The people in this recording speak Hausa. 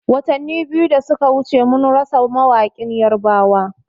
Watani biyu da suka wuce mun rasa mawaƙin yarbawa